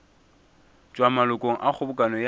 tšwa malokong a kgobokano ya